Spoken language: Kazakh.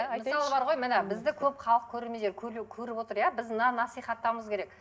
мысалы бар ғой міне бізді көп халық көреремендер көріп отыр иә біз мынаны насихаттауымыз керек